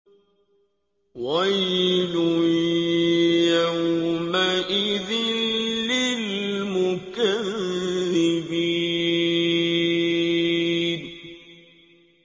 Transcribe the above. وَيْلٌ يَوْمَئِذٍ لِّلْمُكَذِّبِينَ